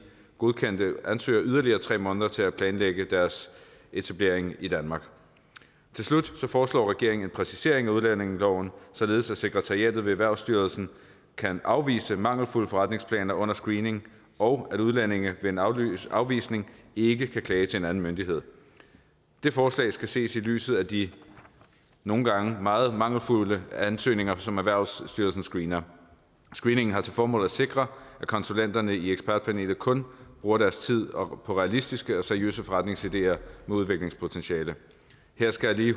godkendte ansøgere yderligere tre måneder til at planlægge deres etablering i danmark til slut foreslår regeringen en præcisering af udlændingeloven således at sekretariatet ved erhvervsstyrelsen kan afvise mangelfulde forretningsplaner under screeningen og så udlændinge ved en afvisning afvisning ikke kan klage til en anden myndighed det forslag skal ses i lyset af de nogle gange meget mangelfulde ansøgninger som erhvervsstyrelsen screener screeningen har til formål at sikre at konsulenterne i ekspertpanelet kun bruger deres tid på realistiske og seriøse forretningsideer med udviklingspotentiale her skal jeg lige